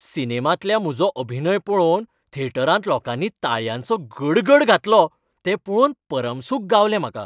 सिनेमांतल्या म्हजो अभिनय पळोवन थेटरांत लोकांनी ताळयांचो गडगड घातलो तें पळोवन परमसूख गावलें म्हाका.